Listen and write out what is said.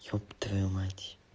ёб твою мать